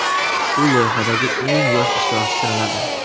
U loyihadagi eng yosh ishtirokchi sanaladi.